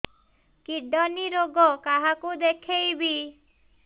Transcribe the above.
kidney ରୋଗ କାହାକୁ ଦେଖେଇବି